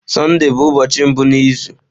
Sọnde bụ ụbọọchi mbụ n'izu.